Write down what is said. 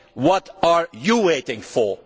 it. What are you waiting for?